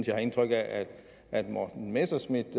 jeg har indtryk af at morten messerschmidt